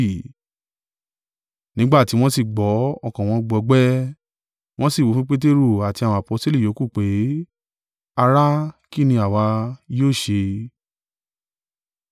Nígbà tí wọ́n sì gbọ́, ọkàn wọn gbọgbẹ́, wọn sì wí fún Peteru àti àwọn aposteli yòókù pé, “Ará, kín ni àwa yóò ṣe?”